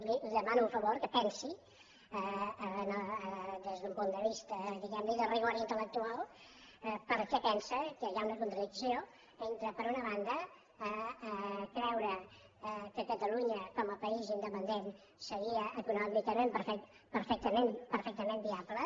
li demano un favor que pensi des d’un punt de vista diguem ne de rigor intel·lectual per què pensa que hi ha una contradicció entre per una banda creure que catalunya com a país independent seria econòmicament perfectament viable